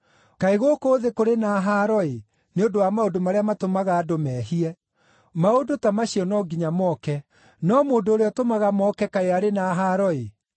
“Kaĩ gũkũ thĩ kũrĩ na haaro-ĩ, nĩ ũndũ wa maũndũ marĩa matũmaga andũ mehie! Maũndũ ta macio no nginya moke, no mũndũ ũrĩa ũtũmaga moke kaĩ arĩ na haaro-ĩ!